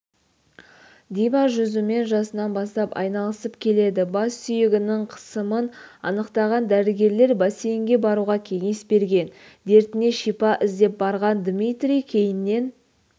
дима жүзумен жасынан бастап айналысып келеді бас сүйегінің қысымын анықтаған дәрігерлер бассейнге баруға кеңес берген дертіне шипа іздеп барған дмитрий кейіннен